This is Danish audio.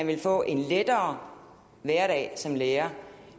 ville få en lettere hverdag som lærer